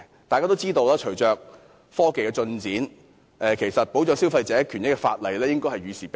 大家也知道，隨着科技進展，保障消費者權益的法例應該與時並進。